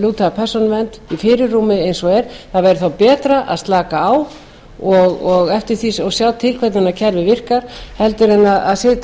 lúta að persónuvernd í fyrirrúmi eins og er það væri þá betra að slaka á og sjá til hvernig kerfið virkar heldur en sitja